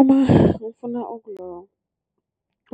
Uma ngifuna